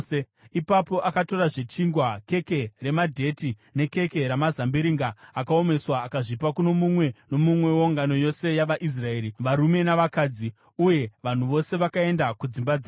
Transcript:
Ipapo akazotorazve chingwa, keke ramadheti nekeke ramazambiringa akaomeswa akazvipa kuno mumwe nomumwe weungano yose yavaIsraeri, varume navakadzi. Uye vanhu vose vakaenda kudzimba dzavo.